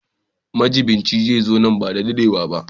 Majiɓinci zai zo nan ba da jimawa ba.